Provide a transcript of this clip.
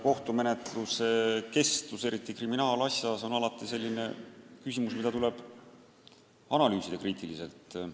Kohtumenetluse kestus, eriti kriminaalasja korral, on alati selline küsimus, mida tuleb kriitiliselt analüüsida.